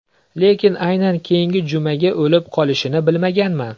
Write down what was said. Lekin aynan keyingi jumaga o‘lib qolishini bilmaganman.